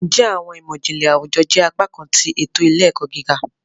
Njẹ Awọn imọ-jinlẹ Awujọ jẹ apakan ti eto ile-ẹkọ gíga?